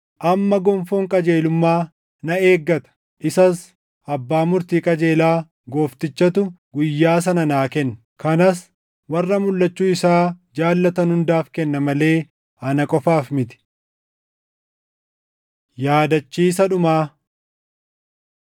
Amma gonfoon qajeelummaa na eeggata; isas Abbaa Murtii qajeelaa, Gooftichatu guyyaa sana naa kenna; kanas warra mulʼachuu isaa jaallatan hundaaf kenna malee ana qofaaf miti. Yaadachiisa Dhumaa